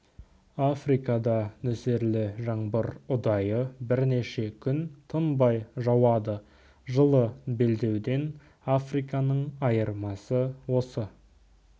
африкада нөсерлі жаңбыр ұдайы бірнеше күн тынбай жауады жылы белдеуден африканың айырмасы осы